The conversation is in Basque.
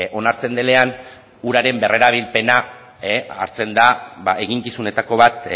onartzen denean uraren berrerabilpena hartzen da eginkizunetako bat